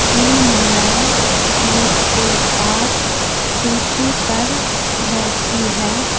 तीन महिलाएं मेज के पास कुर्सी पर बैठी है।